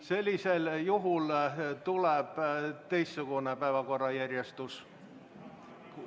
Sellisel juhul tuleb teistsugune päevakorra järjestus.